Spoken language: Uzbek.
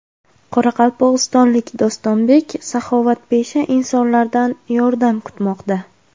Qoraqalpog‘istonlik Dostonbek saxovatpesha insonlardan yordam kutmoqda.